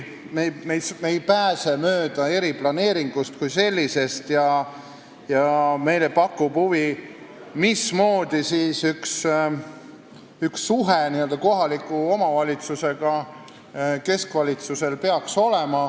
Me ei pääse mööda eriplaneeringust kui sellisest ja meile muidugi pakub huvi, missugune peaks olema keskvalitsuse suhe kohaliku omavalitsusega.